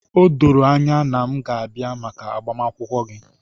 O doro anya na m ga-abịa maka agbamakwụkwọ gị.